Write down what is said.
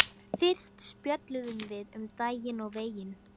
Fyrst spjölluðum við um daginn og veginn.